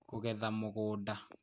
Kũgetha Mũgũnda